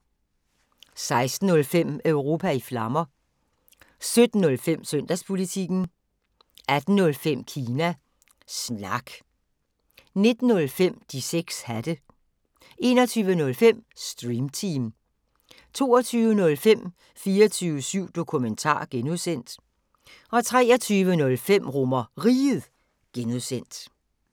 16:05: Europa i Flammer 17:05: Søndagspolitikken 18:05: Kina Snak 19:05: De 6 hatte 21:05: Stream Team 22:05: 24syv Dokumentar (G) 23:05: RomerRiget (G)